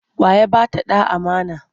Wa ya ba ta ɗa amana?